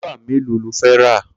Klípà méló ló fẹ̀ rà?